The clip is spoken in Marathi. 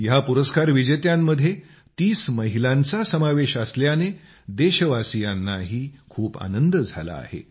ह्या पुरस्कार विजेत्यांमध्ये 30 महिलांचा समावेश असल्याने देशवासीयांनाही खूप आनंद झाला आहे